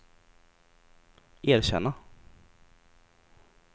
erkänna